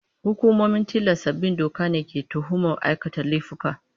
Hukumomin tilasta bin doka ne ke tuhumar aikata laifuka.